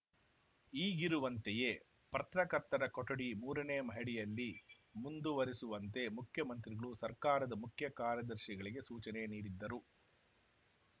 ಈಗಿರುವಂತೆಯೇ ಪ್ರತ್ರಕರ್ತರ ಕೊಠಡಿ ಮೂರನೇ ಮಹಡಿಯಲ್ಲಿ ಮುಂದುವರೆಸುವಂತೆ ಮುಖ್ಯಮಂತ್ರಿಗಳು ಸರ್ಕಾರದ ಮುಖ್ಯ ಕಾರ್ಯದರ್ಶಿಗಳಿಗೆ ಸೂಚನೆ ನೀಡಿದ್ದರು